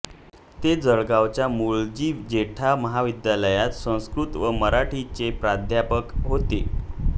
ते जळगावच्या मुळजी जेठा महाविद्यालयात संस्कृत व मराठीचे प्राध्यापक होते